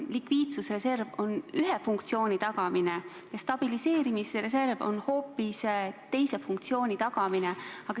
Likviidsusreserv on seotud ühe funktsiooni tagamisega ja stabiliseerimisreserv hoopis teise funktsiooni tagamisega.